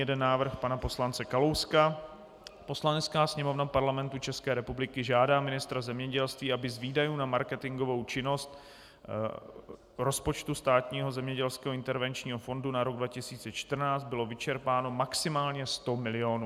Jeden návrh pana poslance Kalouska: "Poslanecká sněmovna Parlamentu České republiky žádá ministra zemědělství, aby z výdajů na marketingovou činnost rozpočtu Státního zemědělského intervenčního fondu na rok 2014 bylo vyčerpáno maximálně 100 milionů."